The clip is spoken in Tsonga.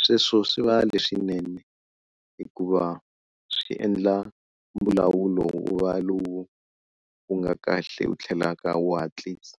Sweswo swi va leswinene hikuva swi endla mbulavulo wu va lowu wu nga kahle wu tlhelaka wu hatlisa.